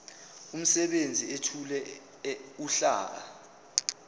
umsebenzi ethule uhlaka